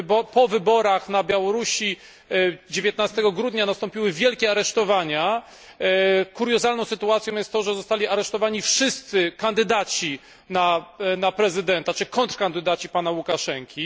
po wyborach na Białorusi 19 grudnia nastąpiły wielkie aresztowania. Kuriozalną sytuacją było to, że zostali aresztowani wszyscy kandydaci na prezydenta, czyli kontrkandydaci pana Łukaszenki.